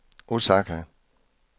Osaka